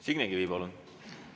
Signe Kivi, palun!